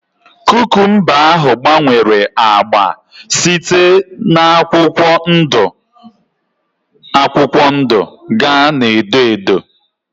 Kukumba ahụ gbanwere ágbá site na akwụkwọ ndụ akwụkwọ ndụ gaa na edo edo